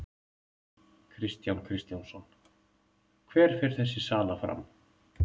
Kristján Kristjánsson: Hver fer þessi sala fram?